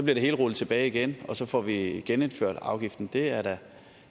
det hele rullet tilbage igen og så får vi genindført afgiften det er da